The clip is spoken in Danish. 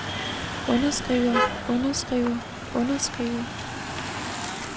underskriver underskriver underskriver